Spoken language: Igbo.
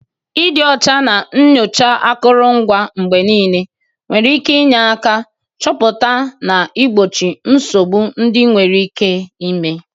Ịdị ọcha na nyochaa akụrụngwa mgbe niile nwere ike inye aka chọpụta na igbochi nsogbu ndị nwere ike ime.